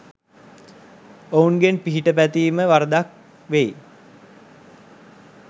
ඔවුන්ගෙන් පිහිට පැතීම වරදක් වෙයි